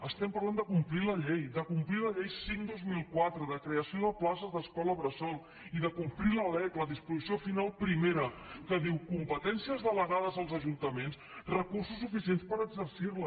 estem parlant de complir la llei de complir la llei cinc dos mil quatre de creació de places d’escola bressol i de complir la lec la disposició final primera que diu competències delegades als ajuntaments recursos suficients per exercir les